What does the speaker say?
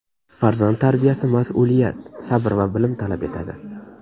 Farzand tarbiyasi mas’uliyat, sabr va bilim talab etadi.